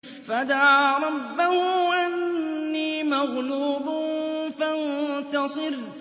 فَدَعَا رَبَّهُ أَنِّي مَغْلُوبٌ فَانتَصِرْ